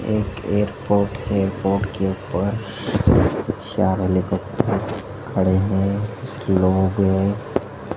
एक एयरपोर्ट है एयरपोर्ट के ऊपर चार हेलीकॉप्टर खड़े हैं लोग--